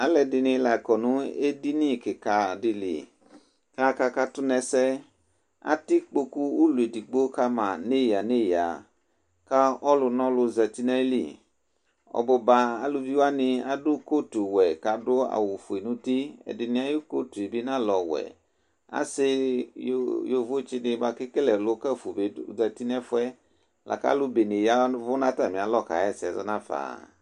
Alu ɛdɩnɩ la akɔ nʋ edini kika dɩ li, kʋ aka katu nʋ ɛsɛ Atɛ ikpoku ʋlɔ edigbo kama nʋ eyǝ nʋ eyǝ, kʋ ɔlʋ nʋ ɔlʋ zǝti nʋ ayili Ɔbuba aluvi wani adu kotuwɛ, kʋ adu awufue nʋ uti Ɛdɩnɩ ayʋ kotu yɛ bɩ ɔnalɛ ɔwɛ Asɩyovotsi dɩnɩ bʋakʋ ekele ɛlʋ kǝfʋ bɩ azǝti nʋ ɛfʋɛ, akʋ alu bene ya ɛvʋ nʋ atami alɔ kʋ aka ɣa ɛsɛzɔ nafa